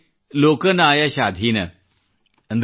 ಕಿಛುತೆ ಲೋಕ ನಾಯ ಶಾಧೀನ